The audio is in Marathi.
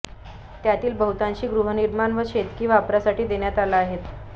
त्यातील बहुतांशी गृहनिर्माण आणि शेतकी वापरासाठी देण्यात आल्या आहेत